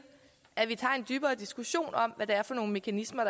at vi tager en dybere diskussion om hvad det er for mekanismer